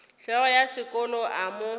hlogo ya sekolo a mo